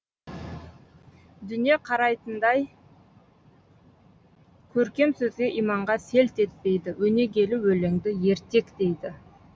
дүние қараи тындаи көркем сөзге иманға селт етпейді өнегелі өлеңді ертек дейді